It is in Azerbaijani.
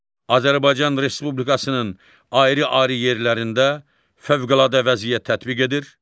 Azərbaycan Respublikasının ayrı-ayrı yerlərində fövqəladə vəziyyət tətbiq edir